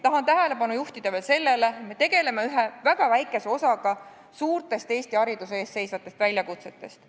Tahan tähelepanu juhtida veel sellele, et me tegeleme ühe väga väikese osaga Eesti hariduse ees seisvatest suurtest väljakutsetest.